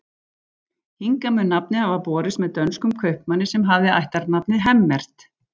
Hingað mun nafnið hafa borist með dönskum kaupmanni sem hafði ættarnafnið Hemmert.